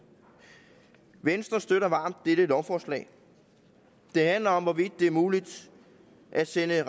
venstre støtter varmt dette lovforslag det handler om hvorvidt det er muligt at sende